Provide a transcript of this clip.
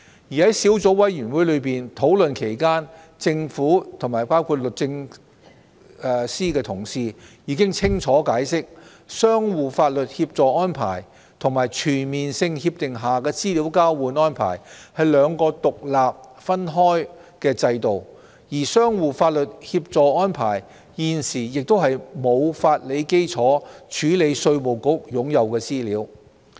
在小組委員會討論期間，政府的同事已清楚解釋，相互法律協助安排與全面性協定下的資料交換安排是兩個獨立分開的制度，而相互法律協助安排現時亦沒有法理基礎處理稅務局擁有的資料。